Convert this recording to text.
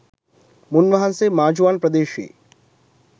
මුන් වහන්සේ මාජුවාන ප්‍රදේශයේ